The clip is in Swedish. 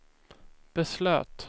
beslöt